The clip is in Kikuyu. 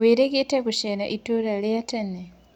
Wĩrĩgĩte rĩ gũcera ĩtũra rĩa tene?